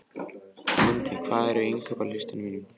Lundi, hvað er á innkaupalistanum mínum?